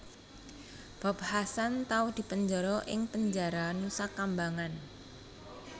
Bob Hasan tau dipenjara ing penjara Nusakambangan